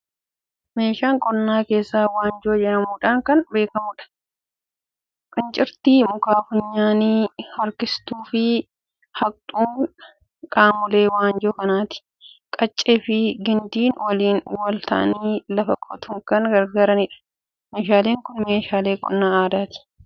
Meeshaalee qonnaa keessaa waanjoo jedhamuudhaan kan beekamudha. Cincirtii, muka funyaanii, harkistuu fi haqxuun qaamolee waanjoo kanaati. Qaccee fi gindii waliin wal ta'anii lafa qotuuf kan gargaaranidha. Meeshaaleen kun meeshaaleen qonna aadaati.